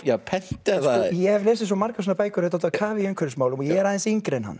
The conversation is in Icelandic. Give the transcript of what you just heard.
pent eða ég hef lesið margar svona bækur er á kafi umhverfismálum og ég er aðeins yngri en hann